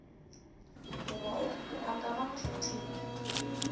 goba a ka ba nkgetheng